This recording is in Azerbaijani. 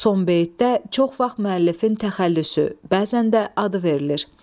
Son beytdə çox vaxt müəllifin təxəllüsü, bəzən də adı verilir.